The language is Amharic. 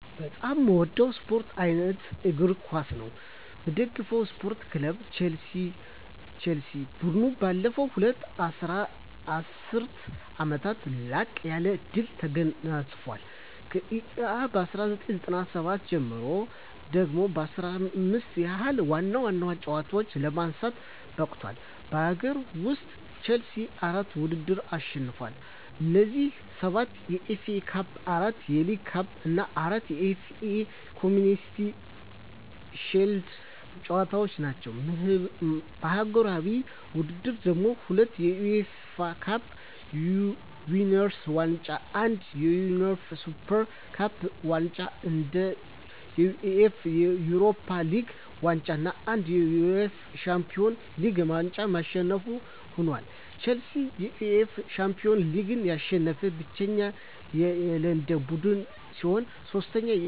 በጣም ምወደው ስፓርት አይነት እግር ኳስ ነው። ምደግፈው ስፓርት ክለብ ቸልሲ። ቡድኑ ባለፉት ሁለት ዐሥርት ዓመታት ላቅ ያለ ድል ተጎናጽፏል። ከእ.ኤ.አ 1997 ጀምሮ ደግሞ 15 ያህል ዋና ዋና ዋንጫዎችን ለማንሳት በቅቷል። በአገር ውስጥ፣ ቼልሲ አራት ውድድሮችን አሸንፏል። እነዚህም፤ ሰባት የኤፍ ኤ ካፕ፣ አራት የሊግ ካፕ እና አራት የኤፍ ኤ ኮምዩኒቲ ሺልድ ዋንጫዎች ናቸው። በአህጉራዊ ውድድሮች ደግሞ፤ ሁለት የዩኤፋ ካፕ ዊነርስ ዋንጫ፣ አንድ የዩኤፋ ሱፐር ካፕ ዋንጫ፣ አንድ የዩኤፋ ዩሮፓ ሊግ ዋንጫ እና አንድ የዩኤፋ ሻምፒዮንስ ሊግ ዋንጫ አሸናፊ ሆኖአል። ቼልሲ የዩኤፋ ሻምፒዮንስ ሊግን ያሸነፈ ብቸኛው የለንደን ቡድን ሲሆን፣ ሦስቱንም የዩኤፋ ውድድሮች በማሸነፍ ከአራቱ አንዱ እና ከእንግሊዝ ደግሞ ብቸኛው ቡድን ለመሆን በቅቷል።